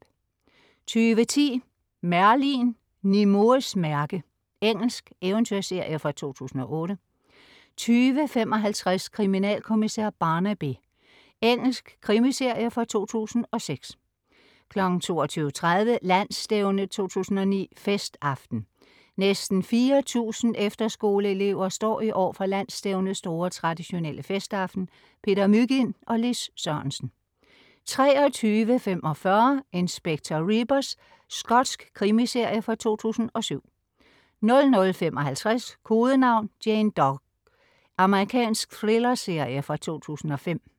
20.10 Merlin. Nimuehs mærke. Engelsk eventyrserie fra 2008 20.55 Kriminalkommissær Barnaby. Engelsk krimiserie fra 2006 22.30 Landsstævne 2009, festaften. Næsten 4000 efterskoleelever står i år for Landsstævnets store, traditionelle festaften. Peter Mygind og Lis Sørensen 23.45 Inspector Rebus. Skotsk krimiserie fra 2007 00.55 Kodenavn: Jane Doe. Amerikansk thrillerserie fra 2005